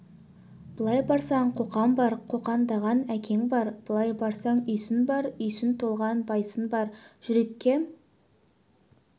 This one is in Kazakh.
былай барсаң қоқан бар қоқаңдаған әкең бар былай барсаң үйсін бар үйсін толған байсын бар жүрекке